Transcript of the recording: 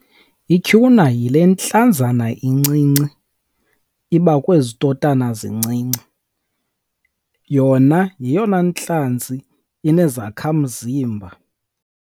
Ityhuna yile ntlazana incinci iba kwezi totana zincinci. Yona yeyona ntlanzi inezakhamzimba.